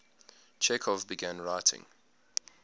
chekhov began writing